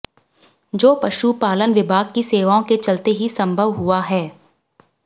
जो पशु पालन विभाग की सेवाओं के चलते ही संभव हुआ है